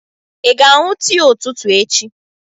Ị ga-aṅụ tii ụtụtụ echi?